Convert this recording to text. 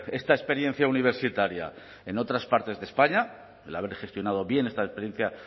esta experiencia universitaria en otras partes de españa el haber gestionado bien esta experiencia